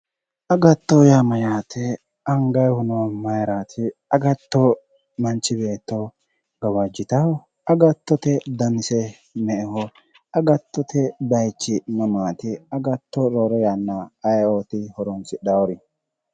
Agatto yaa mayyaate? Angayiihuno mayeeraati? Agatto manchi beetto gawajjitawo? Agattote danise me"eho? Agattote bayeechise mamaati? Agatto roore yanna ayeoti horonsidhaawori?